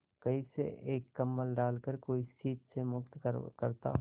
कहीं से एक कंबल डालकर कोई शीत से मुक्त करता